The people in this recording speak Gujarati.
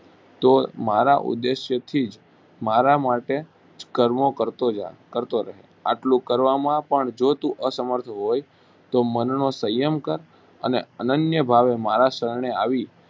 તો મારા ઉદ્દેશથી જ મારા માટે કર્મો કરતો જા કરતો રહે. આટલું કરવામાં પણ જો તું અસમર્થ હોય તો મનનો સંયમ કર અને અનન્ય ભાવે મારા શરણે આવી